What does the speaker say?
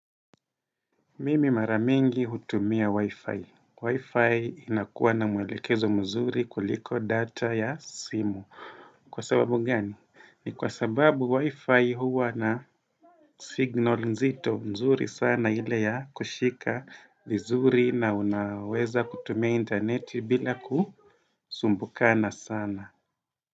Mimi mara mingi hutumia Wi-Fi. Wi-Fi inakuwa na mwelekezo mzuri kuliko data ya simu. Kwa sababu gani? Ni kwa sababu Wi-Fi huwa na signal nzito mzuri sana ile ya kushika vizuri na unaweza kutumia interneti bila kusumbukana sana.